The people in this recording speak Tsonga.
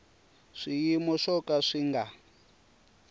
swiyimo swo ka swi nga